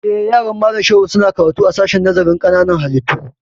Eh, yaran Malam Shehu su na karatu a sashen nazarin ƙananan hallitu